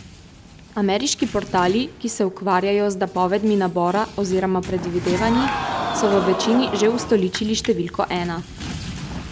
Ameriški portali, ki se ukvarjajo z napovedmi nabora oziroma predvidevanji, so v večini že ustoličili številko ena.